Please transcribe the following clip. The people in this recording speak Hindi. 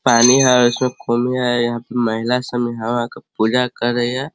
पानी है उसमें खोल में है यहाँ पे महिला सब इहवा पर पूजा कर रही हैं।